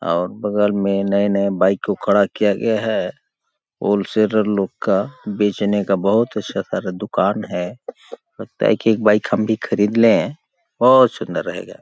और बगल में नए नए बाइक को खड़ा किया गया है होल सेलर लोग का बेचने का बहुत अच्छा सारा दुकान है लगता है कि एक बाइक हम भी खरीद लें बहुत सुंदर रहेगा --